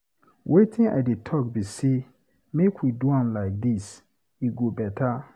Wetin I dey talk be say make we do am like dis, e go beta.